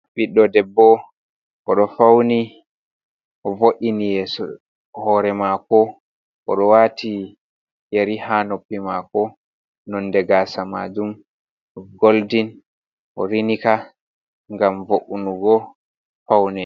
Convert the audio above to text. Ɓiddo debbo o ɗo fauni vo’ini yeso hore mako, o ɗo wati yeri ha noppi mako. Nonde gasa majum ni goldin o rini ka gam vo’ungo paune.